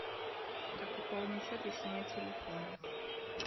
как пополнить счет если нет телефона